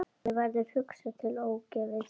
Mér verður hugsað til Ófeigs.